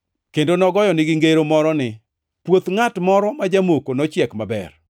Kendo nogoyonegi ngero moro ni: “Puoth ngʼat moro ma jamoko nochiek maber.